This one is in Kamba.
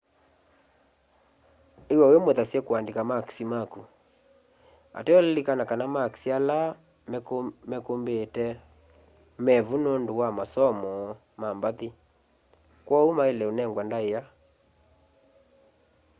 iw'a wimuthasye kuandika makisi maku ateo lilikana kana makisi ala mekumbite mevu nundu wa masomo ma mbathi kwoou maile unengwa ndaia